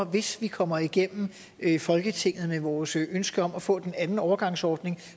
hvis vi kommer igennem folketinget med vores ønske om at få den anden overgangsordning